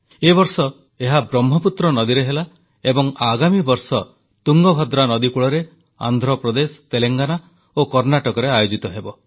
ଏ ବର୍ଷ ଏହା ବ୍ରହ୍ମପୁତ୍ର ନଦୀରେ ହେଲା ଏବଂ ଆଗାମୀ ବର୍ଷ ତୁଙ୍ଗଭଦ୍ରା ନଦୀକୂଳରେ ଆନ୍ଧ୍ରପ୍ରଦେଶ ତେଲେଙ୍ଗାନା ଓ କର୍ଣ୍ଣାଟକରେ ଆୟୋଜିତ ହେବ